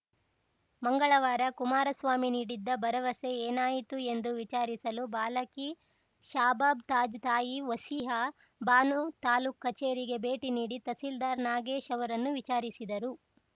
ಮಂಗಳವಾರ ಕುಮಾರಸ್ವಾಮಿ ನೀಡಿದ್ದ ಭರವಸೆ ಏನಾಯಿತು ಎಂದು ವಿಚಾರಿಸಲು ಬಾಲಕಿ ಶಾಬಾಬ್‌ ತಾಜ್‌ ತಾಯಿ ವಸೀಹಾ ಭಾನು ತಾಲೂಕು ಕಚೇರಿಗೆ ಭೇಟಿ ನೀಡಿ ತಹಸೀಲ್ದಾರ್‌ ನಾಗೇಶ್‌ ಅವರನ್ನು ವಿಚಾರಿಸಿದರು